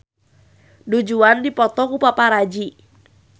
Du Juan dipoto ku paparazi